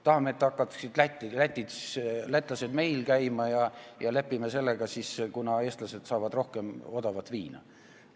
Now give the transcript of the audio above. Kas me tahame, et lätlased hakkaksid meil ostmas käima ja lepime sellega, kuna eestlased saavad rohkem odavat viina?